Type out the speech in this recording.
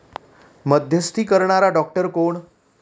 मध्यस्थी करणारा डॉक्टर कोण?